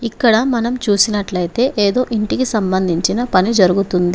ఇక్కడ మనం చూసినట్లయితే ఏదో ఇంటికి సంబంధించిన పని జరుగుతుంది.